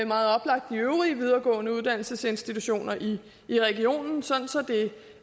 meget oplagt de øvrige videregående uddannelsesinstitutioner i i regionen sådan